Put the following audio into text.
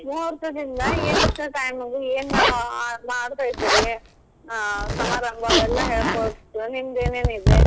ಮುಹೋರ್ತದಿಂದ ಎಂಥಾ time ಗ್ ಏನ್ ಮಾಡ್ತಾ ಇದಿರಿ ಸಮಾರಂಭಾ ಅವೆಲ್ಲಾ ಹೇಳಕೊಟ್ರ ನಿಮ್ದೇನೆನ್ ಇದೆ.